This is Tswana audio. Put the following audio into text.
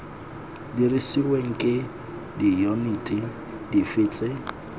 dirisiweng ke diyuniti dife tse